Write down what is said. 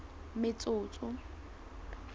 metsotso